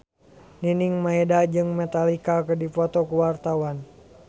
Nining Meida jeung Metallica keur dipoto ku wartawan